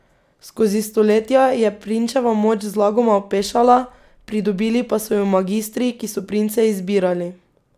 Skozi stoletja je prinčeva moč zlagoma opešala, pridobili pa so jo magistri, ki so prince izbirali.